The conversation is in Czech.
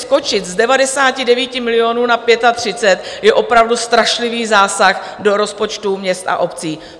Skočit z 99 milionů na 35 je opravdu strašlivý zásah do rozpočtu měst a obcí.